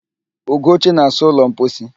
Ugochi na-asa ụlọ mposi.